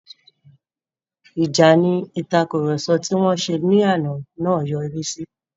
Ìjà ni ìtàkurọ̀sọ tí wọ́n ṣe ní àná yọrí sí.